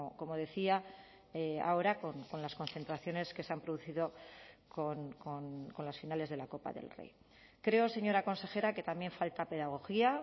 como decía ahora con las concentraciones que se han producido con las finales de la copa del rey creo señora consejera que también falta pedagogía